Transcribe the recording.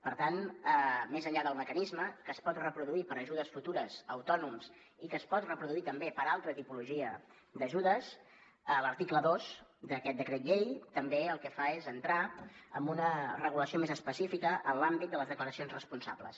per tant més enllà del mecanisme que es pot reproduir per a ajudes futures a autònoms i que es pot reproduir també per a altra tipologia d’ajudes l’article dos d’aquest decret llei també el que fa és entrar en una regulació més específica en l’àmbit de les declaracions responsables